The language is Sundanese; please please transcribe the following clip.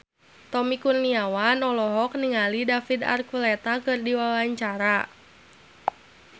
Tommy Kurniawan olohok ningali David Archuletta keur diwawancara